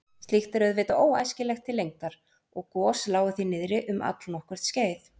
Slíkt er auðvitað óæskilegt til lengdar og gos lágu því niðri um allnokkurt skeið.